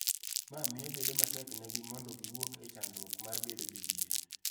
Ma miyo bedo matek negi mondo giwuok e chandruok mar bedo jodhier.